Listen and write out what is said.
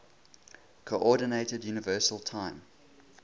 coordinated universal time